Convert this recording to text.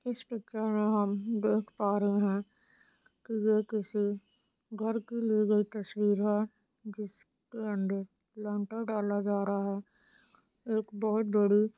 इस पिक्चर मे हम देख पा रहे है की ये किसी घर की ली गई तस्वीर है जिसके अंदर प्लैन्टर डाला जा रहा है एक बोहोत बड़ी--